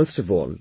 First of all,